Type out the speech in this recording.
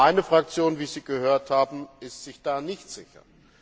Meine Fraktion wie Sie gehört haben ist sich da nicht sicher.